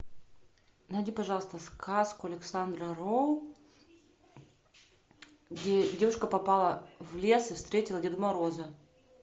найди пожалуйста сказку александра роу где девушка попала в лес и встретила деда мороза